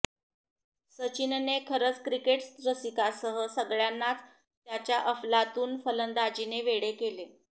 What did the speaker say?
सचिनने खरंच क्रिकेट रसिकांसह सगळ्यांनाच त्याच्या अफलातून फलंदाजीने वेडे केले